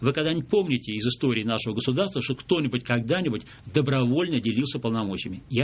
вы когда-нибудь помните из истории нашего государства чтобы кто-нибудь когда-нибудь добровольно делился полномочиями я